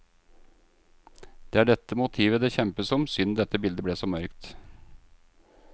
Det er dette motivet det kjempes om, synd dette bildet ble så mørkt.